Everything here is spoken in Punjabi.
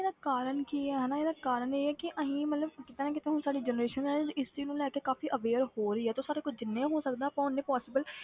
ਇਹਦਾ ਕਾਰਨ ਕੀ ਹੈ ਹਨਾ ਇਹਦਾ ਕਾਰਨ ਇਹ ਹੈ ਕਿ ਅਸੀਂ ਮਤਲਬ ਕਿਤੇ ਨਾ ਕਿਤੇ ਹੁਣ ਸਾਡੀ generation ਹੈ ਇਸ ਚੀਜ਼ ਨੂੰ ਲੈ ਕੇ ਕਾਫ਼ੀ aware ਹੋ ਰਹੀ ਹੈ, ਤੇ ਸਾਡੇ ਕੋਲ ਜਿੰਨੇ ਹੋ ਸਕਦਾ ਓਨੇ possible